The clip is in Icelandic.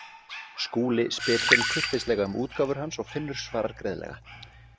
Skúli spyr Finn kurteislega um útgáfur hans og Finnur svarar greiðlega.